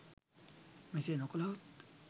මෙසේ නොකළහොත්